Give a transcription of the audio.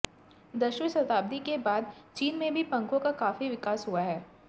दसवीं शताब्दी के बाद चीन में भी पंखों का काफी विकास हुआ